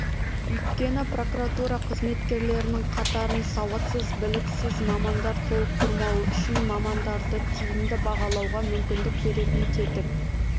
өйткені прокуратура қызметкерлерінің қатарын сауатсыз біліксіз мамандар толықтырмауы үшін мамандарды тиімді бағалауға мүмкіндік беретін тетік